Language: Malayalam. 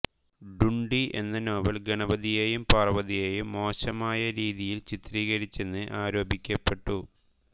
ഢുൺഢി എന്ന നോവൽ ഗണപതിയെയും പാർവതിയെയും മോശമായ രീതിയിൽ ചിത്രീകരിച്ചെന്ന് ആരോപിക്കപ്പെട്ടു